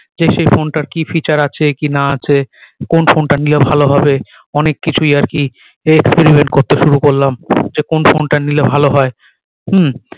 যে সেই ফোন টার কি feature আছে কি না আছে কোন ফোন টা নিলে ভালো হবে অনেক কিছুই আর কি experiment করতে শুরু করলাম যে কোন ফোন টা নিলে ভালো হয় হম